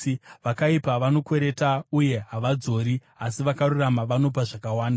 Vakaipa vanokwereta uye havadzori, asi vakarurama vanopa zvakawanda;